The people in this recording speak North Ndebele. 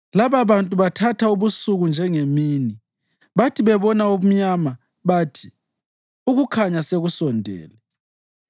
Lababantu bathatha ubusuku njengemini; bathi bebona ubumnyama bathi, ‘Ukukhanya sekusondele.’